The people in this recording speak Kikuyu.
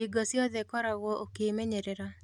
Hingo ciothe koragwo ukĩĩmenyerera.